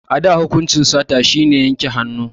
A da hukunci sata shi ne yanke hannu